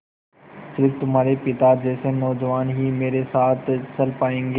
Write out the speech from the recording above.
स़िर्फ तुम्हारे पिता जैसे नौजवान ही मेरे साथ चल पायेंगे